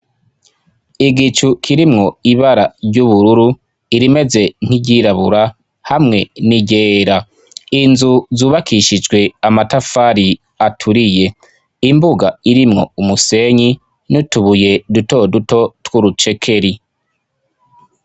Igicu kirimwo ibara ry'ubururu irimeze nk'iryirabura hamwe n'iryera inzu zubakishijwe amatafari aturiye imbuga irimwo umusenyi n'utubuye duto duto tw'urucekeri.